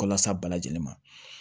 Kɔlɔs'a bɛɛ lajɛlen ma